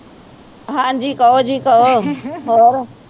ਹਾਂਜੀ ਕਹੋ ਜੀ ਕਹੋ ਜੀ ਹੋਰ